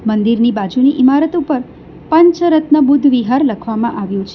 મંદિરની બાજુની ઈમારત ઉપર પંચરત્ન બુદ્ધ વિહાર લખવામાં આવ્યું છે.